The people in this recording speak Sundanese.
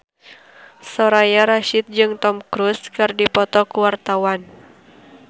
Soraya Rasyid jeung Tom Cruise keur dipoto ku wartawan